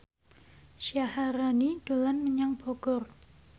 Syaharani dolan menyang Bogor